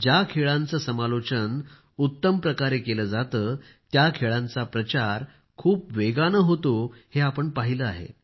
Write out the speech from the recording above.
ज्या खेळांचे समालोचन उत्तम प्रकारे केले जाते त्या खेळांचा प्रचार खूप वेगाने होते हे आपण पाहिले आहे